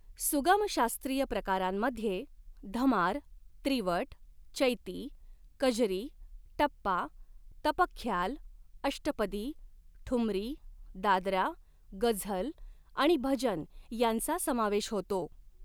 सुगम शास्त्रीय प्रकारांमध्ये धमार, त्रिवट, चैती, कजरी, टप्पा, तप ख्याल, अष्टपदी, ठुमरी, दादरा, गझल आणि भजन यांचा समावेश होतो.